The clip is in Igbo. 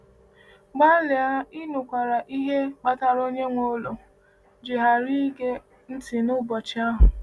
Gbalịa ịnakwere ihe kpatara onye nwe ụlọ ji ghara ịge ntị n’ụbọchị ahụ.